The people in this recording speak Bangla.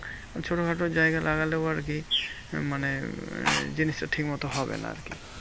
ছোটোখাটো জায়গা লাগলেও আরকি মানে আহ জিনিসটা ঠিক মতো হবে না আরকি।